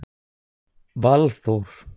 Valþór